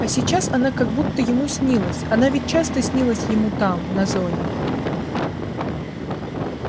а сейчас она как будто ему снилась она ведь часто снилась ему там на зоне